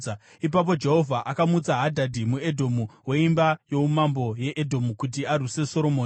Ipapo Jehovha akamutsa Hadhadhi muEdhomu, weimba youmambo yeEdhomu kuti arwise Soromoni.